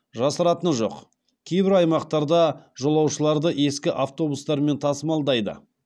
жасыратыны жоқ кейбір аймақтарда жолушыларды ескі автобустармен тасымалдайды